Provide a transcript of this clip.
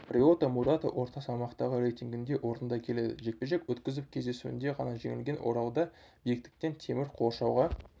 риота мурата орта салмақтағы рейтингінде орында келеді жекпе-жек өткізіп кездесуінде ғана жеңілген оралда биіктіктен темір қоршауға